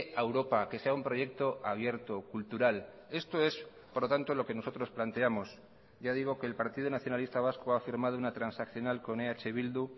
a europa que sea un proyecto abierto cultural esto es por lo tanto lo que nosotros planteamos ya digo que el partido nacionalista vasco ha firmado una transaccional con eh bildu